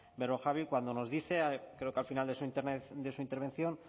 berrojalbiz cuando nos dice creo que al final de su intervención